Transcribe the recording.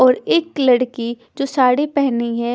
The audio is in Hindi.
और एक लड़की जो साड़ी पहनी है--